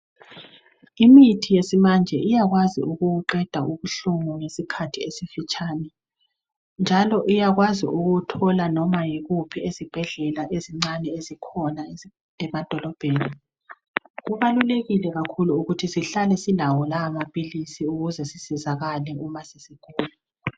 Imithi yesimanje iyakwazi ukuwuqeda ubuhlungu ngesikhathi esifitshane njalo iyakwazi ukuthola noma yikuphi ezibhedlela ezincane ezikhona emadolobheni kubalulekile kakhulu ukuthi sihlale silawo lawa maphilisi ukuze sisizakale uma sesigula.